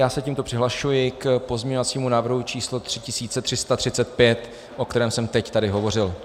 Já se tímto přihlašuji k pozměňovacímu návrhu číslo 3335, o kterém jsem teď tady hovořil.